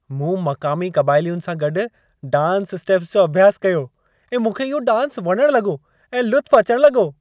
मूं मक़ामी क़बाइलियुनि सां गॾु डांस स्टेप्स जो अभ्यासु कयो ऐं मूंखे इहो डांस वणण लॻो ऐं लुत्फ़ु अचण लॻो।